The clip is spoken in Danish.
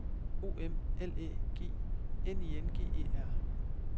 O M L Æ G N I N G E R